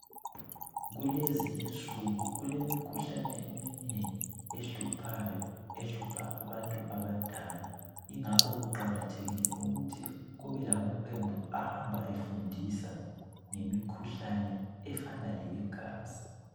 Kulezinsuku kulemikhuhlane eminengi ehluphayo ehlupha abantu abadala. Ingakho kuqakathekile ukuthi kubelamaqembu ahambe efundisa ngemikhuhlane efana leyegazi